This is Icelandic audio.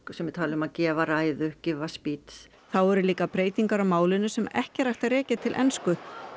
sumir tala um að gefa ræðu give a speech þá eru líka breytingar á málinu sem ekki er hægt að rekja til ensku